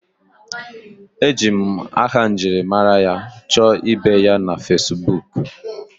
Eji m aha njirimara ya chọọ ibe ya na Facibuku